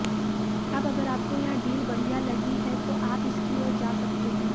अब अगर आपको यह डील बढ़िया लगी है तो आप इसकी ओर जा सकते हैं